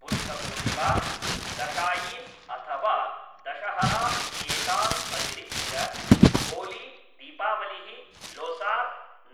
बुद्धपूर्णिमा, दशाईन्, अथवा दशहरा इत्येतान् अतिरिच्य होली, दीपावलिः, लोसार्,